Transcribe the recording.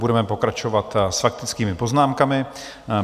Budeme pokračovat s faktickými poznámkami.